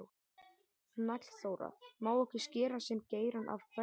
Hnallþóra: Má ekki skera sinn geirann af hverri?